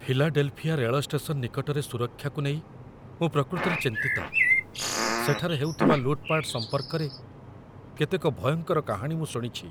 Philadelphia ରେଳ station ନିକଟରେ ସୁରକ୍ଷାକୁ ନେଇ ମୁଁ ପ୍ରକୃତରେ ଚିନ୍ତିତ, ସେଠାରେ ହେଉଥିବା ଲୁଟ୍‌ପାଟ୍‌ ସମ୍ପର୍କରେ କେତେକ ଭୟଙ୍କର କାହାଣୀ ମୁଁ ଶୁଣିଛି।